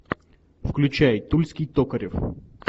включай тульский токарев